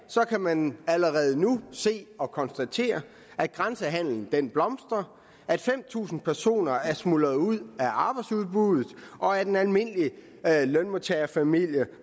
kan man allerede nu se og konstatere at grænsehandelen blomstrer at fem tusind personer er smuldret ud af arbejdsudbuddet og at en almindelig lønmodtagerfamilie